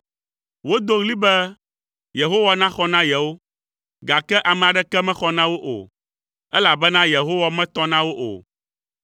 Wodo ɣli be Yehowa naxɔ na yewo, gake ame aɖeke mexɔ na wo o, elabena Yehowa metɔ na wo o.